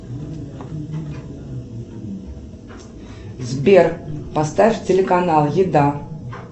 сбер поставь телеканал еда